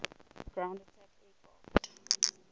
ground attack aircraft